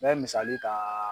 N bɛ misali ta